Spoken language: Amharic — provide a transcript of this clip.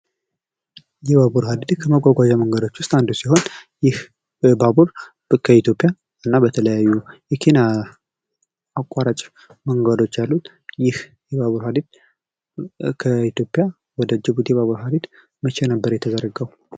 የባቡር ሀዲድ ከመጓጓዣ መንገዶች ውስጥ አንዱ ሲሆን ይህ ባቡር ከኢትዮጵያ እና በተለያዩ የኬንያ አቋራጭ መንገዶች ያሉት ይህ የባቡር ሀዲድ ከኢትዮጵያ ወደ ጅቡቲ የባቡር ሀዲድ መቼ ነበር የተዘረጋው?